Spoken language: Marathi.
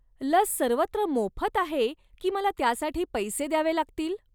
लस सर्वत्र मोफत आहे की मला त्यासाठी पैसे द्यावे लागतील?